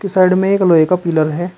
Side में एक लोहे का पिलर है।